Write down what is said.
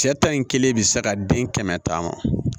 Cɛ ta in kelen bɛ se ka den kɛmɛ taama